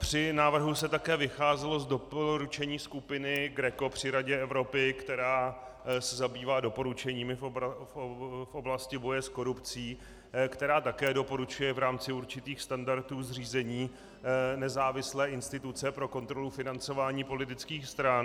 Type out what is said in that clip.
Při návrhu se také vycházelo z doporučení skupiny GRECO při Radě Evropy, která se zabývá doporučeními v oblasti boje s korupcí, která také doporučuje v rámci určitých standardů zřízení nezávislé instituce pro kontrolu financování politických stran.